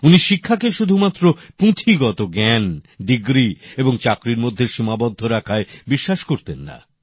উনি শিক্ষাকে শুধুমাত্র পুঁথিগত জ্ঞান ডিগ্রি এবং চাকরির মধ্যে সীমাবদ্ধ রাখায় বিশ্বাস করতেন না